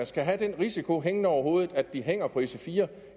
skal have den risiko hængende over hovedet at de hænger på ic4